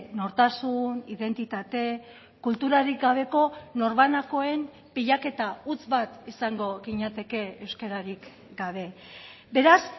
nortasun identitate kulturarik gabeko norbanakoen pilaketa huts bat izango ginateke euskararik gabe beraz